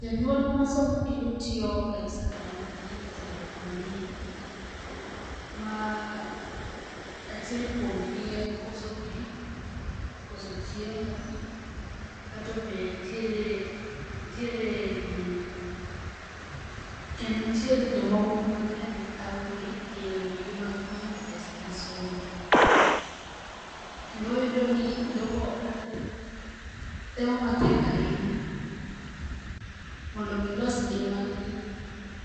Janyuol ma somo kendo tiyo Garissa kaonti kalo e chandruok mang'eny. Ma achiel kuom gi en koso pi, koso chiemo kato be nitiere, nitiere, kendo nitiere jo mahundu mang'eny ma thago gi e yore gi mag manyo pesa gi somo. Kendo iyudo ni jogo kalo e, temo matek ahinya mondo gilos ngima gi